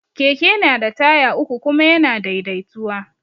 Keke na da taya uku kuma ya na daidaituwa